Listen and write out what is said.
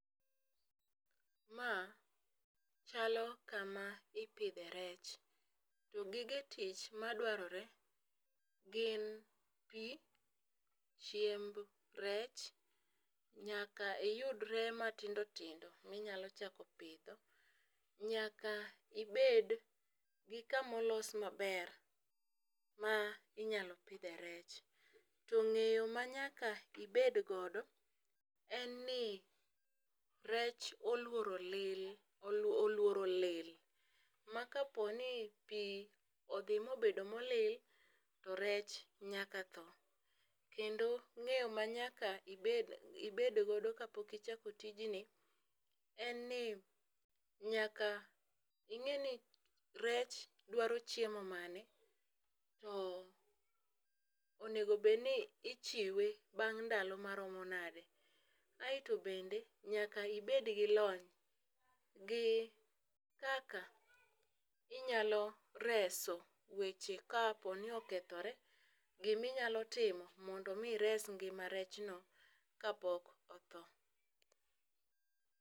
Ma chalo kama ipidhe rech. To gige tich madwarore gin pii, chiemb rech ,nyaka iyudre matindo tindo minyalo chako pidho, nyaka ibed gi kama olos maber ma inyalo pidhe rech. To ng'eyo manyaka ibed godo en ni rech oluoro lil oluoro lil ma kaponi pii odhi mobedo molil to rech nyaka tho. Kendo ng'eyo manyaka ibed godo kapok ichako tij ni en ni nyaka ing'e ni rech dwaro chiemo mane to onego bed ni ichiwe bang' ndalo maromo nade. Aeto bende nyaka ibed gi lony gi kaka inyalo reso weche kapo ni okethore , giminyalo timo mondo mi ires ngima rechno kapok otho.